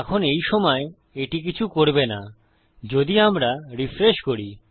এখন এই সময় এটি কিছু করবে না যদি আমরা রিফ্রেশ করি